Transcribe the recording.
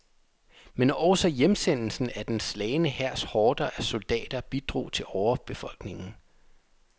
Men også hjemsendelsen af den slagne hærs horder af soldater bidrog til overbefolkningen.